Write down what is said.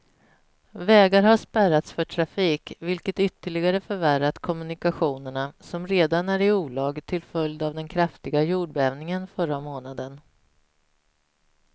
Vägar har spärrats för trafik, vilket ytterligare förvärrat kommunikationerna som redan är i olag till följd av den kraftiga jordbävningen förra månaden.